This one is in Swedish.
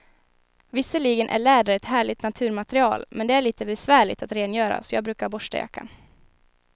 Visserligen är läder ett härligt naturmaterial, men det är lite besvärligt att rengöra, så jag brukar borsta jackan.